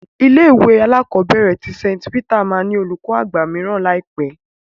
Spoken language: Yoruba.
Ilé-ìwé alákọ̀ọ́bẹ̀rẹ̀ tí St Peter máa ní olùkó àgbà mìíràn ní àìpé.